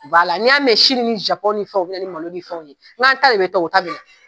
n'i y'a mɛn Sini ni Zapɔn ni fɛnw bina ni malo nin fɛw ye, n k'an ta bi taa, t'u ta tina.